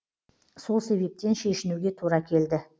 сол себептен шешінуге тура келді